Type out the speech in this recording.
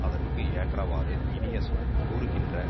அதற்கு ஏற்றவாறு இனிய சொல் கூறுகின்ற